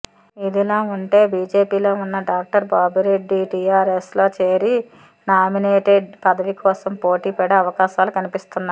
ఇదిలా ఉంటే బిజెపిలో ఉన్న డాక్టర్ బాపురెడ్డి టిఆర్ఎస్లో చేరి నామినేటేడ్ పదవి కోసం పోటీ పడే అవకాశాలు కనిపిస్తున్నాయి